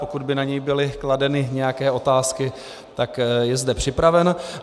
Pokud by na něj byly kladeny nějaké otázky, tak je zde připraven.